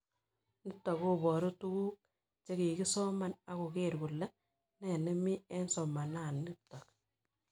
Nitok koparu tuguk che kikisoman ak koker kole nee nemi eng' somana nitok